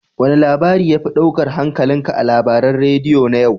Wane labari ya fi ɗaukar hankalinka a labaran radiyo na yau?